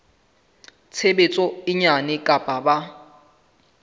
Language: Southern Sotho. tshebetso e nyane kapa ba